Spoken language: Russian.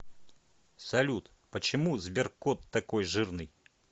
салют почему сберкот такой жирный